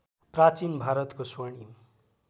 प्राचीन भारतको स्वर्णिम